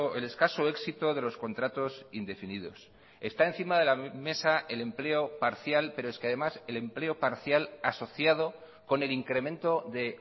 el escaso éxito de los contratos indefinidos está encima de la mesa el empleo parcial pero es que además el empleo parcial asociado con el incremento de